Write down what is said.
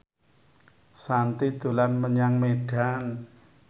Shanti dolan menyang Medan